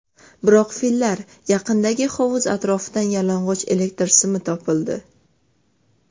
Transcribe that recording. Biroq, fillar yaqinidagi hovuz atrofidan yalang‘och elektr simi topildi.